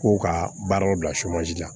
K'o ka baaraw bila la